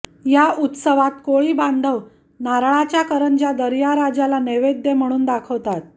या उत्सवात कोळीबांधव नारळाच्या करंज्या दर्याराजाला नैवेद्य म्हणून दाखवतात